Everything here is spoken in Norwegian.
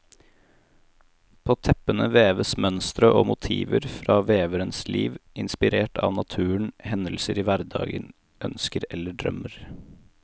På teppene veves mønstre og motiver fra veverens liv, inspirert av naturen, hendelser i hverdagen, ønsker eller drømmer.